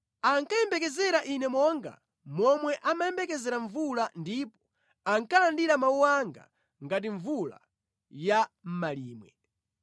Ankayembekezera ine monga momwe amayembekezera mvula ndipo ankalandira mawu anga ngati mvula ya mʼmalimwe.